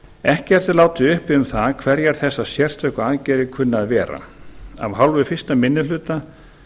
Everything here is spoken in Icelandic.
ekkert er látið uppi um það hverjar þessar sérstöku aðgerðir kunna að vera af hálfu fyrsti minni hluta